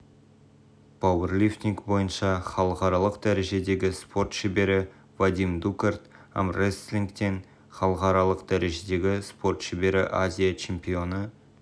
пауэрлифтинг бойынша халықаралық дәрежедегі спорт шебері вадим дукарт армреслингтен халықаралық дәрежедегі спорт шебері азия чемпионы